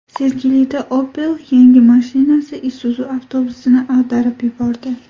Sergelida Opel yengil mashinasi Isuzu avtobusini ag‘darib yubordi.